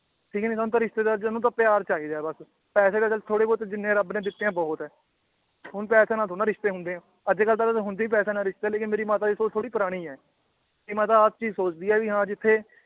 ਠੀਕ ਨੀ ਸਾਨੂੰ ਤਾਂ ਰਿਸ਼ਤੇਦਾਰ ਚ ਸਾਨੂੰ ਤਾਂ ਪਿਆਰ ਚਾਹੀਦਾ ਏ ਬੱਸ ਪੈਸੇ ਤਾਂ ਚੱਲ ਥੋੜੇ ਬਹੁਤੇ ਜਿੰਨੇ ਰੱਬ ਨੇ ਦਿੱਤੇ ਏ ਬਹੁਤ ਏ ਹੁਣ ਪੈਸੇ ਨਾਲ ਥੋੜੀ ਨਾ ਰਿਸ਼ਤੇ ਹੁੰਨੇ ਏ ਅੱਜਕੱਲ ਤਾਂ ਵੈਸੇ ਹੁੰਦੇ ਈ ਪੈਸਿਆਂ ਨਾਲ ਰਿਸ਼ਤੇ ਲੇਕਿਨ ਮੇਰੀ ਮਾਤਾ ਦੀ ਸੋਚ ਥੋੜੀ ਪੁਰਾਣੀ ਏ ਕਿ ਮਾਤਾ ਹਰ ਚੀਜ਼ ਸੋਚਦੀ ਏ ਵੀ ਹਾਂ ਜਿਥੇ